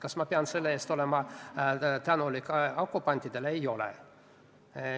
Kas ma olen selle eest tänulik okupantidele?